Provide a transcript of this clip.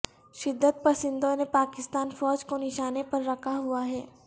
شدت پسندوں نے پاکستان فوج کو نشانے پر رکھا ہوا ہے